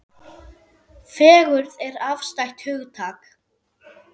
Fegurð er afstætt hugtak.